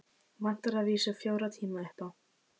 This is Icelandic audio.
Vantar að vísu fjóra tíma upp á.